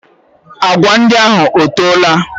Agwa ndị ahụ ọtoola?